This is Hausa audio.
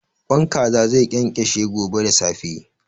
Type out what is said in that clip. Ƙwan Kaza zai ƙenƙeshe gobe da safe.